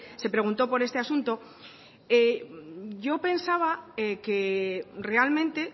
se preguntó por este asunto yo pensaba que realmente